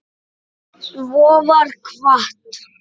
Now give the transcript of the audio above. Svo var kvatt.